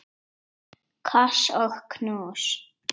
Koss og knús.